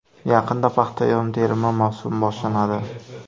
Yaqinda paxta yig‘im-terimi mavsumi boshlanadi.